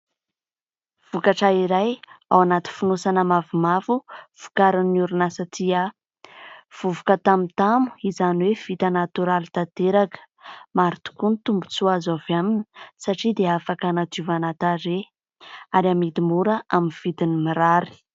Vokatra iray ao anaty fonosana mavomavo vokarin'ny orinasa " Tia ". Vovoka tamotamo izany hoe : vita natoraly tanteraka ; maro tokoa ny tombontsoa azo avy aminy satria dia afaka hanadiovana tarehy ary amidy mora amin'ny vidiny mirary.